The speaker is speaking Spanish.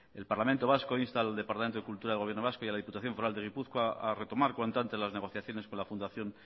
el parlamento vasco insta al departamento de cultura del gobierno vasco y a la diputación foral de gipuzkoa a retomar cuanto antes las negociaciones con la fundación